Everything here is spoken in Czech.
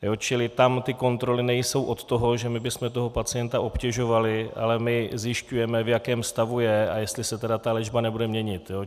Čili tam ty kontroly nejsou od toho, že my bychom toho pacienta obtěžovali, ale my zjišťujeme, v jakém stavu je a jestli se tedy ta léčba nebude měnit.